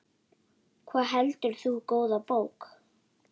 Hvað heldur þú, góða bók?